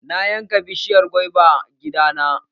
Na yanka bishiyar gwaiban gida na.